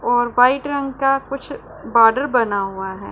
और व्हाइट रंग का कुछ बॉर्डर बना हुआ है।